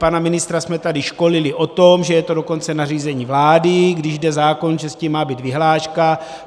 Pana ministra jsme tady školili o tom, že je to dokonce nařízení vlády, že když jde zákon, že s tím má být vyhláška.